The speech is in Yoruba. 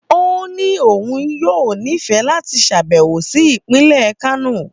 Ó ní òun yóò nífẹ̀ẹ́ láti ṣàbẹ̀wò sí ìpínlẹ̀ Kano